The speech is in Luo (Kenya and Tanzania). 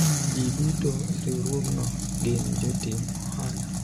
jii duto e riwruogno gin jotim ohala